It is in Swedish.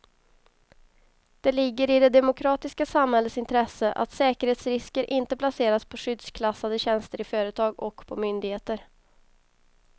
Det ligger i det demokratiska samhällets intresse att säkerhetsrisker inte placeras på skyddsklassade tjänster i företag och på myndigheter.